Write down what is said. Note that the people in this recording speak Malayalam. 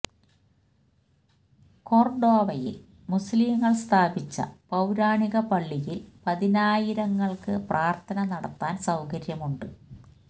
കൊര്ഡോവയില് മുസ്ലിംകള് സ്ഥാപിച്ച പൌരാണിക പള്ളിയില് പതിനായിരങ്ങള്ക്ക് പ്രാര്ത്ഥന നടത്താന് സൌകര്യമുണ്ട്